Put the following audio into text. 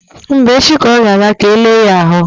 Mba, echi ka ọ ga-aga ka e lee ya ahụ.